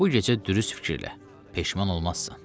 Bu gecə dürüst fikirlə, peşman olmazsan.